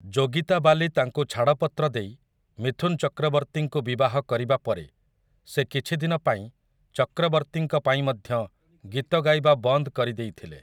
ଯୋଗିତା ବାଲି ତାଙ୍କୁ ଛାଡ଼ପତ୍ର ଦେଇ ମିଥୁନ ଚକ୍ରବର୍ତ୍ତୀଙ୍କୁ ବିବାହ କରିବା ପରେ ସେ କିଛି ଦିନ ପାଇଁ ଚକ୍ରବର୍ତ୍ତୀଙ୍କ ପାଇଁ ମଧ୍ୟ ଗୀତ ଗାଇବା ବନ୍ଦ କରିଦେଇଥିଲେ ।